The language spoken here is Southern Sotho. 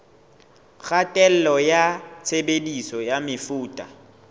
kgatello ya tshebediso ya mefuta